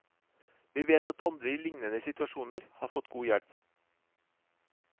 Vi vet at andre i liknende situasjoner har fått god hjelp.